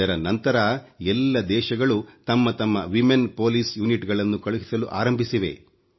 ಇದರ ನಂತರ ಎಲ್ಲ ದೇಶಗಳು ತಮ್ಮ ತಮ್ಮ ಮಹಿಳಾ ಪೊಲೀಸ್ ಪಡೆಗಳನ್ನು ಕಳುಹಿಸಲು ಆರಂಭಿಸಿವೆ